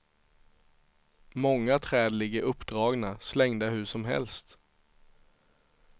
Många träd ligger uppdragna, slängda hur som helst.